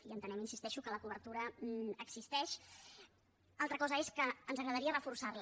i entenem hi insisteixo que la cobertura existeix altra cosa és que ens agradaria reforçar la